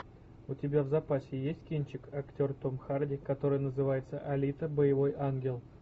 у тебя в запасе есть кинчик актер том харди который называется алита боевой ангел